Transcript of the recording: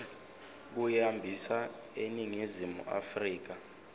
kuyihambisa eningizimu afrika